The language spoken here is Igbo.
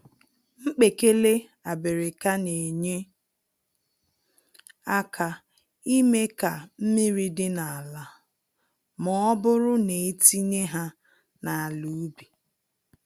Mkpekele abịrịka nenye àkà ime ka mmiri dịrị n'ala, mọbụrụ netinye ha n'ala ubi.